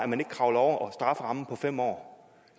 man ikke kravler over strafferammen på fem år